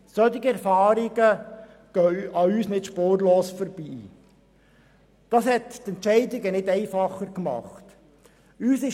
Solche Erfahrungen gehen nicht spurlos an uns vorbei, was die Entscheidungen nicht einfacher gemacht hat.